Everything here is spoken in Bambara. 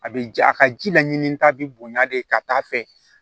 A bɛ ja a ka ji la ɲinita bi bonya de ka taa fɛ